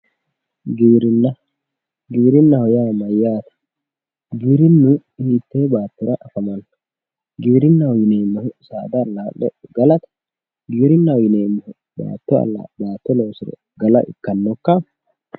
giwirinna giwirinnaho yaa mayyaate? giwirinnu hiittee baattora famanno? giwirinnu baatto loosire galate? giwirinnu saada allaa'le gala ikkitannokka?